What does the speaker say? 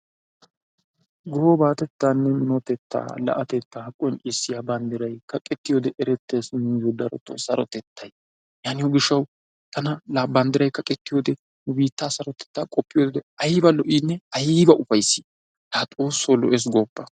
Gobatettaane minotettaa la'atettaa qonccisiyaa banddiray kaqettiyoode erettees nuyoo sarotettay yaatiyoo giishshawu tana banddiray kaqettiyoo wode nu biittaa sarotettaa qoppiyoode tana ayba lo"iinne ayba ufayssii! Laa xoossoo lo"ees gooppa.